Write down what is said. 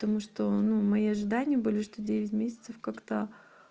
потому что ну мои ожидания были что девять месяцев как-то